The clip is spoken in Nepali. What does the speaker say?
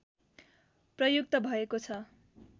प्रयुक्त भएको छ